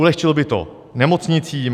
Ulehčilo by to nemocnicím.